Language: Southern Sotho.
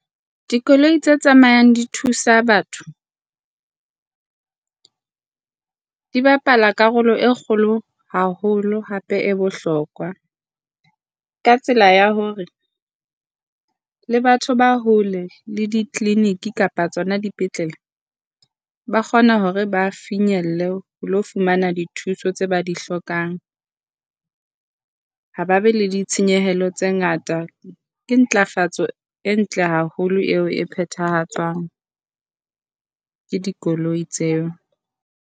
Dikoloi tse tsamayang di thusa batho di bapala karolo e kgolo haholo hape e bohlokwa. Ka tsela ya hore le batho ba hole le di-clinic kapa tsona dipetlele, ba kgona hore ba finyelle ho ilo fumana dithuso tseo ba di hlokang. Ha ba be le ditshenyehelo tse ngata. Ke ntlafatso e ntle haholo eo e phethahatswang ke dikoloi tseo.